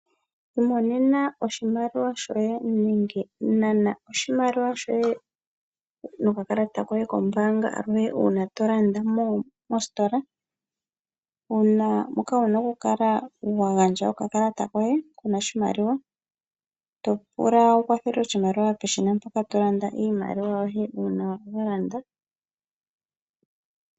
Imonena oshimaliwa shoye nenge, nana oshimaliwa shoye, nokakalata koye kombaanga aluhe uuna tolanda mositola. Ano moka wuna okukala wagandja okakalata koye kuna oshimaliwa, topula wukwathelwe oshimaliwa peshina mpoka togandja iimaliwa yoye uuna walanda.